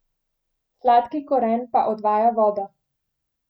Sladki koren pa odvaja vodo.